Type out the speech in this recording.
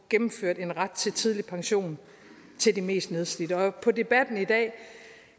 gennemført en ret til tidlig pension til de mest nedslidte på debatten i dag